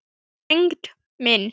Tengdi minn.